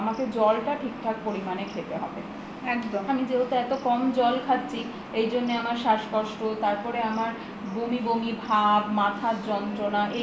আমাকে জল টা ঠিক থাক পরিমানে খেতে হবে আমি যেহেতু এত কম জল খাচ্ছি এইজন্যে আমার শ্বাসকষ্ট তারপরে আমার বমি বমি ভাবমাথার যন্ত্রণা